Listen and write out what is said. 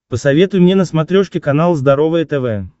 посоветуй мне на смотрешке канал здоровое тв